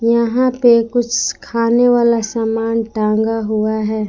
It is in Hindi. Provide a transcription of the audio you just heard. यहां पे कुछ खाने वाला सामान टांगा हुआ है।